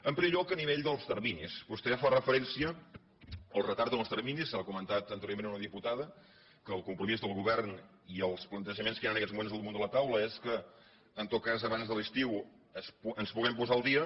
en primer lloc a nivell dels terminis vostè fa referència al retard en els terminis ho ha comentat anteriorment una diputada que el compromís del govern i els plantejaments que hi ha en aquests moments a damunt de la taula és que en tot cas abans de l’estiu ens puguem posar al dia